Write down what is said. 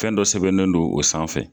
Fɛn dɔ sɛbɛnnen non o sanfɛ